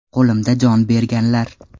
Qo‘limda jon berganlar.